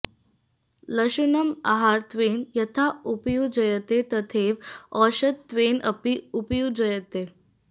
लशुनम् आहारत्वेन यथा उपयुज्यते तथैव औषधत्वेन अपि उपयुज्यते